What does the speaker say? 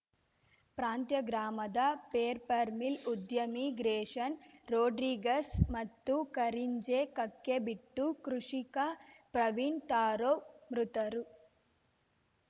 ಪ್ರಾಂತ್ಯ ಗ್ರಾಮದ ಪೇರ್ಪರ್‌ಮಿಲ್‌ ಉದ್ಯಮಿ ಗ್ರೇಶನ್‌ ರೊಡ್ರಿಗಸ್‌ ಮತ್ತು ಕರಿಂಜೆ ಕಕ್ಕೆಬೆಟ್ಟು ಕೃಷಿಕ ಪ್ರವೀಣ್‌ ತಾರೌ ಮೃತರು